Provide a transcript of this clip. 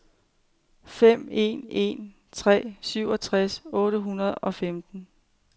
fem en en tre syvogtres otte hundrede og femten